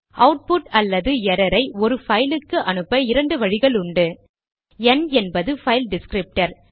output அல்லது error ஐ ஒரு பைல் க்கு அனுப்ப இரண்டு வழிகளுண்டு ந் என்பது பைல் டிஸ்க்ரிப்டர்